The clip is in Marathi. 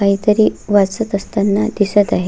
काहीतरी वाचत असताना दिसत आहे.